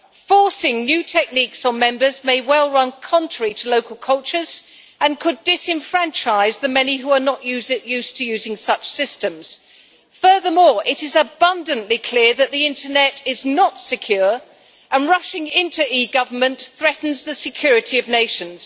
Forcing new techniques on Member States may well run contrary to local cultures and could disenfranchise the many who are not used to using such systems. Furthermore, it is abundantly clear that the internet is not secure, and rushing into eGovernment threatens the security of nations.